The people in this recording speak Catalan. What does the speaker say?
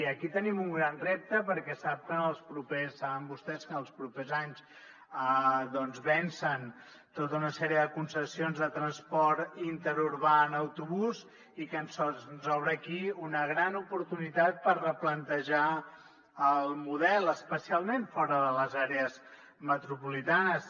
i aquí tenim un gran repte perquè saben vostès que els propers anys vencen tota una sèrie de concessions de transport interurbà en autobús i que se’ns obre aquí una gran oportunitat per replantejar el model especialment fora de les àrees metropolitanes